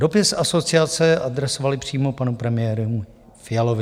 Dopis asociace adresovali přímo panu premiérovi Fialovi.